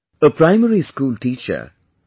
A Primary school teacher, P